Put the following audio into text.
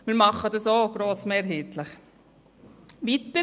Wir machen dies grossmehrheitlich so.